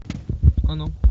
оно